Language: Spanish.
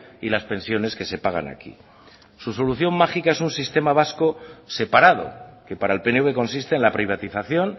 y las pensiones que se pagan aquí su solución mágica es un sistema vasco separado que para el pnv consiste en la privatización